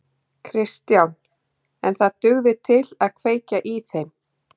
Kristján: En það dugði til að kveikja í þeim?